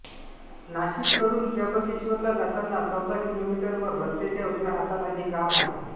नाशिककडून त्र्यंबकेश्वरला जाताना चौदा किलोमीटरवर रस्त्याच्या उजव्या हाताला हे गाव आहे